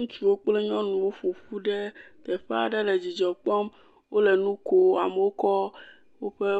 Ŋutsuwo kple nyɔnuwo ƒoƒu ɖe teƒea ɖe le dzidzɔ kpɔm, wole nu kom amewo kɔ woƒe